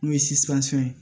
N'o ye ye